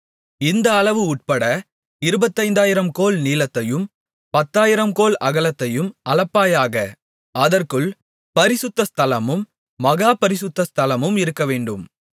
இந்த அளவு உட்பட இருபத்தைந்தாயிரம் கோல் நீளத்தையும் பத்தாயிரம் கோல் அகலத்தையும் அளப்பாயாக அதற்குள் பரிசுத்த ஸ்தலமும் மகா பரிசுத்த ஸ்தலமும் இருக்கவேண்டும்